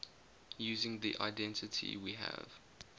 using the identity we have